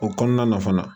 O kɔnɔna na fana